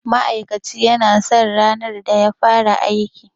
Ma'aikaci ya san ranar da ya fara aiki